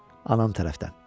Anam tərəfdən.